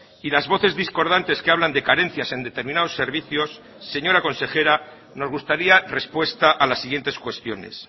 y las voces discordantes que hablan de carencias en determinados servicios señora consejera nos gustaría respuesta a las siguientes cuestiones